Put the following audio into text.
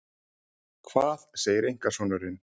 Hvað segir einkasonurinn?